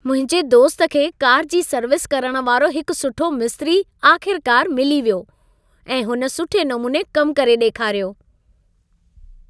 मुंहिंजे दोस्त खे कार जी सर्विस करण वारो हिकु सुठो मिस्त्री आख़िरकारु मिली वियो ऐं हुन सुठे नमूने कमु करे ॾेखारियो।